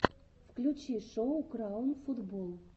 включи шоу краун футбол